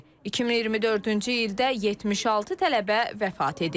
2024-cü ildə 76 tələbə vəfat edib.